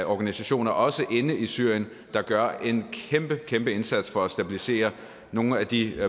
organisationer også inde i syrien der gør en kæmpe kæmpe indsats for at stabilisere nogle af de